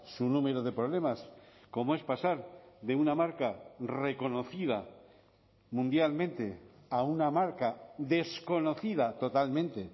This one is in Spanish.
su número de problemas como es pasar de una marca reconocida mundialmente a una marca desconocida totalmente